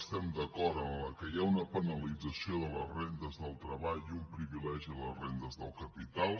estem d’acord que hi ha una penalització de les rendes del treball i un privilegi a les rendes del capital